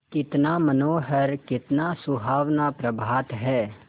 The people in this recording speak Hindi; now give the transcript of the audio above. कितना मनोहर कितना सुहावना प्रभात है